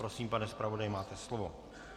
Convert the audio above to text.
Prosím, pane zpravodaji, máte slovo.